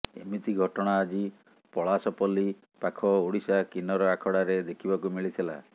ଏମିତି ଘଟଣା ଆଜି ପଳାସପଲ୍ଲୀ ପାଖ ଓଡ଼ିଶା କିନ୍ନର ଆଖଡ଼ାରେ ଦେଖିବାକୁ ମିଳିଥିଲା